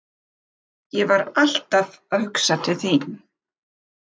Ég var alltaf að hugsa til þín.